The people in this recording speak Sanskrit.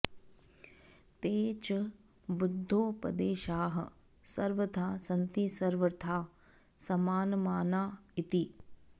ते च बुद्धोपदेशाः सर्वथा सन्ति सर्वथा समानमाना इति